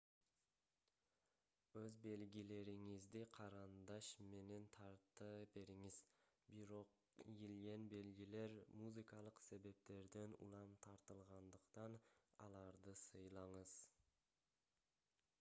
өз белгилериңизди карандаш менен тарта бериңиз бирок ийилген белгилер музыкалык себептерден улам тартылгандыктан аларды сыйлаңыз